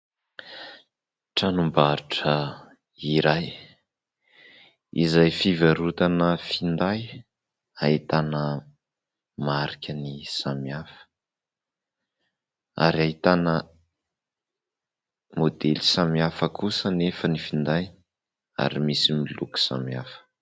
Tranom-barotra iray izay fivarotana finday. Ahitana marikany samihafa ary ahitana maodely samihafa kosa nefa ny finday ary misy miloko samihafa.